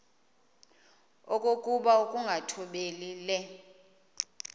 okokuba ukungathobeli le